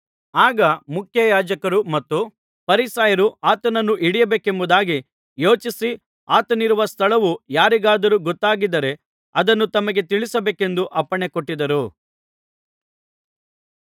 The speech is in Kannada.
ಆಗ ಮುಖ್ಯಯಾಜಕರೂ ಮತ್ತು ಫರಿಸಾಯರೂ ಆತನನ್ನು ಹಿಡಿಯಬೇಕೆಂಬುದಾಗಿ ಯೋಚಿಸಿ ಅವನಿರುವ ಸ್ಥಳವು ಯಾರಿಗಾದರೂ ಗೊತ್ತಾದರೆ ಅದನ್ನು ತಮಗೆ ತಿಳಿಸಬೇಕೆಂದು ಅಪ್ಪಣೆ ಕೊಟ್ಟಿದ್ದರು